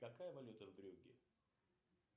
какая валюта в брюгге